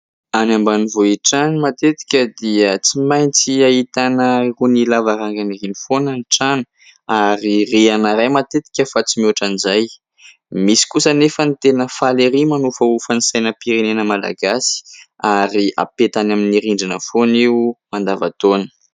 Any ambanivohitra any matetika dia tsy maintsy ahitana irony lavarangan'irony foana ny trano ary rihana iray matetika fa tsy mihoatra an'izay, misy kosa anefa ny tena faly ery manofahofa ny sainam-pirenena malagasy ary hapetany amin'ny rindrina foana io mandavan-taona.